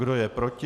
Kdo je proti?